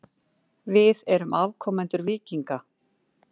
Við erum afkomendur víkinga.